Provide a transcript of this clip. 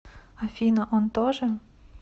афина он тоже